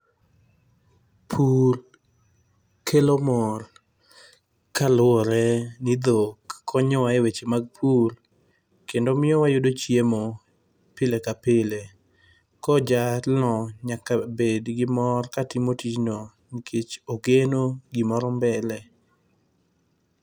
Pur kelo mor, kaluwore ni dhok konyo wa e weche mag pur, kendo miyo wayudo chiemo pile ka pile. Koro jalno nyaka bed gi mor katimo tijno nikech ogeno gimoro mbele.